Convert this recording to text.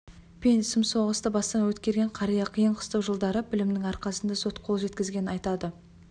пен сұм соғысты бастан өткерген қария қиын қыстау жылдары білімнің арқасында сот қол жеткізгенін айтады